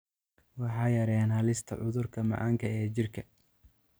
Waxay yareeyaan halista cudurka macaanka ee jirka.